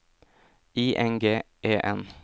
I N G E N